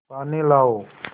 पानी लाओ